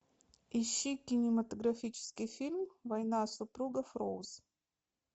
ищи кинематографический фильм война супругов роуз